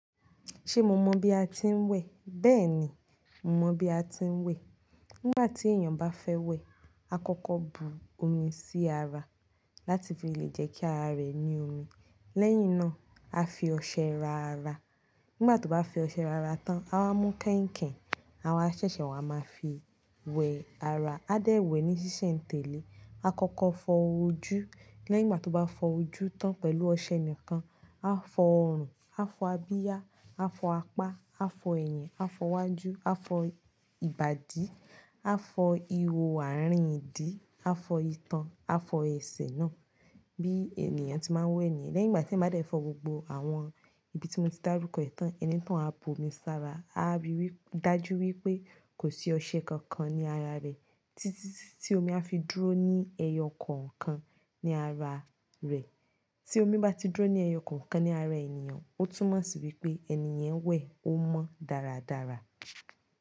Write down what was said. Ṣé mo mọ bi a ti ń wẹ̀? Bẹ́ẹ̀ni, mo mọ bi a ti ń wẹ̀. Nígbà tí èèyàn bá fẹ́ wẹ̀, a kọ́kọ́ bu omi sí ara láti fi lè jẹ́ kí ara rẹ̀ ní omi. Lẹ́yìn náà, a fi ọṣẹ ra ara. Nígbà tó bá fi ọṣẹ ra ara tán, a máa mú kẹ́ẹ̀kẹ́, àwa ṣẹ̀ṣẹ̀ wà máa fi wẹ ara. A dẹ̀ wẹ̀ ní ṣíṣe n tẹ̀lé. A kọ́kọ́ fọ ojú. Lẹ́yìn ìgbà tó bá fọ ojú tán pẹ̀lú ọṣẹ nìkan, a fọ ọrùn, a fọ abíyá, a fọ apá, a fọ ẹ̀yìn, a fọ iwájú, a fọ ìbàdí, a fọ ihò ààrin ìdí, a fọ ìtàn, a fọ ẹsẹ̀ náà bí ènìyàn tí máa ń wẹ̀ ni. Lẹ́yìn ìgbà tí a bá fọ gbogbo àwọn ibi tí mo ti dárúkọ tán, ẹni tán á bu omi sára. A á ríi dájú wípé kò sí ọṣẹ kankan ní ara rẹ̀ títí tí omi á fi dúró ní ẹyọ kọ̀ọ̀kan ní ara rẹ̀. Tí omi bá ti dúró ní ẹyọ kọ̀ọ̀kan ní ara ènìyàn, ó túnmọ̀ sí wípé ẹni yẹn wẹ̀ ó mọ dáradára.